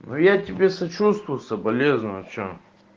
ну я тебе сочувствую соболезную что